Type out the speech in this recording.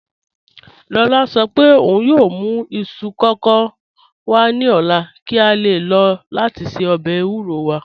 Lọla sọ̀ pẹ̀ ọ̀un yoo mù isu kọkọ wa ni ọla ki a le lọ lati ṣe ọbẹ̀ ewúrò wa